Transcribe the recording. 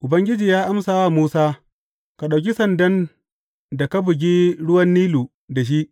Ubangiji amsa wa Musa, Ka ɗauki sandan da ka bugi ruwan Nilu da shi.